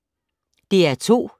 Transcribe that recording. DR2